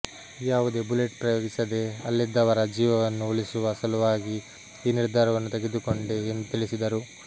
ಯಾವುದೇ ಬುಲೆಟ್ ಪ್ರಯೋಗಿಸದೇ ಅಲ್ಲಿದ್ದವರ ಜೀವವನ್ನು ಉಳಿಸುವ ಸಲುವಾಗಿ ಈ ನಿರ್ಧಾರವನ್ನು ತೆಗೆದುಕೊಂಡೆ ಎಂದು ತಿಳಿಸಿದರು